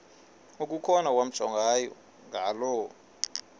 okukhona wamjongay ngaloo